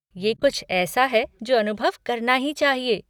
ये कुछ ऐसा है जो अनुभव करना ही चाहिए।